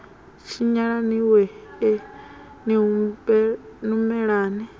tshinyala ni wee ni humelani